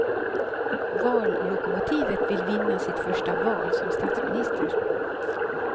Vallokomotivet vill vinna sitt första val som statsminister.